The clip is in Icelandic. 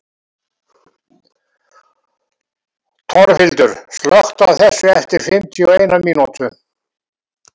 Torfhildur, slökktu á þessu eftir fimmtíu og eina mínútur.